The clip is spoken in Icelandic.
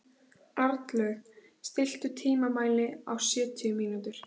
Arnlaug, stilltu tímamælinn á sjötíu mínútur.